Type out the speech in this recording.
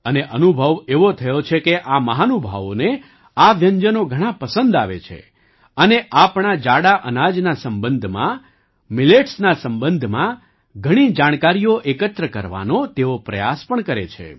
અને અનુભવ એવો થયો છે કે આ મહાનુભાવોને આ વ્યંજનો ઘણાં પસંદ આવે છે અને આપણા જાડા અનાજના સંબંધમાં Milletsના સંબંધમાં ઘણી જાણકારીઓ એકત્ર કરવાનો તેઓ પ્રયાસ પણ કરે છે